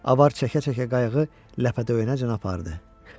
Avara çəkə-çəkə qayığı ləpədöyənəcən apardı.